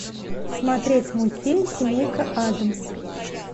смотреть мультфильм семейка адамс